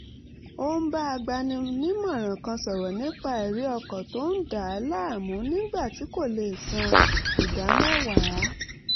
ó bá agbaninímọ̀ràn kan sọ̀rọ̀ nípa ẹ̀rí ọkàn tó ń dà á láàmú nígbà tí kò lè san ìdámẹ́wàá